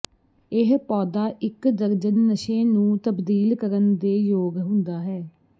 ਇਹ ਪੌਦਾ ਇਕ ਦਰਜਨ ਨਸ਼ੇ ਨੂੰ ਤਬਦੀਲ ਕਰਨ ਦੇ ਯੋਗ ਹੁੰਦਾ ਹੈ